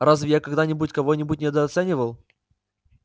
разве я когда-нибудь кого-нибудь недооценивал